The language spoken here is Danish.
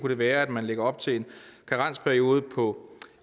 det være at man lægger op til en karensperiode på